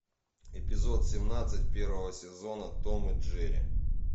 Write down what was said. эпизод семнадцать первого сезона том и джерри